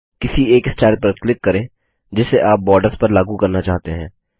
किसी एक स्टाइल पर क्लिक करें जिसे आप बॉर्डर्स पर लागू करना चाहते हैं